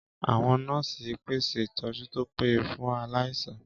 Àwọn nọ́ọ̀sì ń pèsè ìtọ́jú tó péye fún aláìsàn